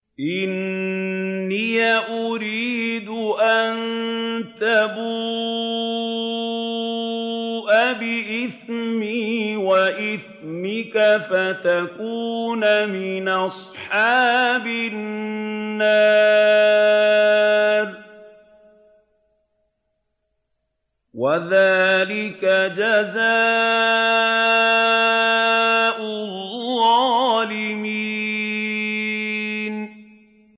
إِنِّي أُرِيدُ أَن تَبُوءَ بِإِثْمِي وَإِثْمِكَ فَتَكُونَ مِنْ أَصْحَابِ النَّارِ ۚ وَذَٰلِكَ جَزَاءُ الظَّالِمِينَ